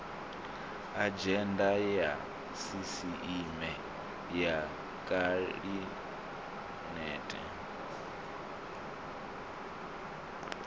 adzhenda ya sisieme ya khabinete